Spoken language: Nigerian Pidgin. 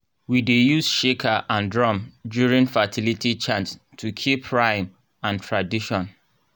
we dey use shaker and drum during fertility chants to keep rhythm and tradition.